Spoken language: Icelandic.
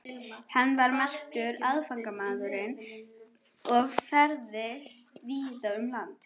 Hann var merkur athafnamaður og ferðaðist víða um land.